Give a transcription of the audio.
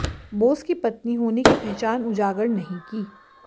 बोस की पत्नी होने की पहचान उजागर नहीं की